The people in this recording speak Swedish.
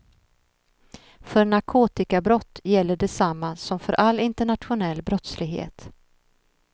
För narkotikabrott gäller detsamma som för all internationell brottslighet.